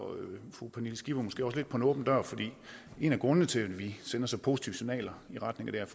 fru pernille skipper måske også lidt på en åben dør fordi en af grundene til at vi sender så positive signaler i retning af det her